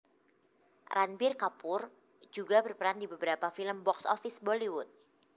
Ranbir Kapoor juga berperan di beberapa film box office Bollywood